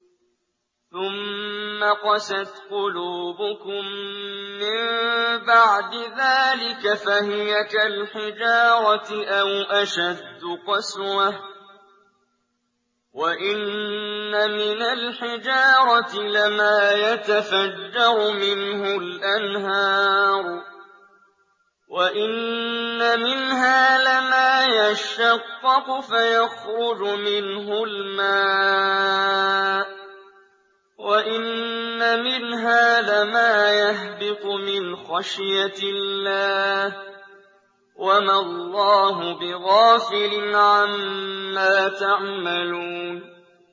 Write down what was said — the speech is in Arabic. ثُمَّ قَسَتْ قُلُوبُكُم مِّن بَعْدِ ذَٰلِكَ فَهِيَ كَالْحِجَارَةِ أَوْ أَشَدُّ قَسْوَةً ۚ وَإِنَّ مِنَ الْحِجَارَةِ لَمَا يَتَفَجَّرُ مِنْهُ الْأَنْهَارُ ۚ وَإِنَّ مِنْهَا لَمَا يَشَّقَّقُ فَيَخْرُجُ مِنْهُ الْمَاءُ ۚ وَإِنَّ مِنْهَا لَمَا يَهْبِطُ مِنْ خَشْيَةِ اللَّهِ ۗ وَمَا اللَّهُ بِغَافِلٍ عَمَّا تَعْمَلُونَ